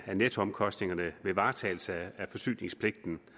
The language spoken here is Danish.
nettoomkostningerne ved varetagelse af forsyningspligten